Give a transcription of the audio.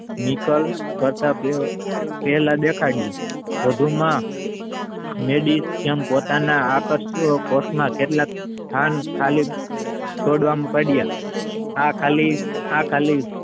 નીકર તથા પહેલા દેખાડ્યું વધુમાં મેદી પોતાના આકર્ષો કેટલાક સ્થાન ખાલી છોડવાનું કર્યા આ ખાલી આ ખાલી